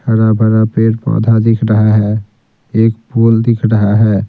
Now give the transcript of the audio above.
हरा-भरा पेड़-पौधा दिख रहा है एक पोल दिख रहा है।